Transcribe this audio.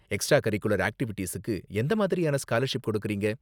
Extra curricular ஆக்ட்டிவிட்டீஸுக்கு எந்த மாதிரியான ஸ்காலர்ஷிப் கொடுக்கறீங்க?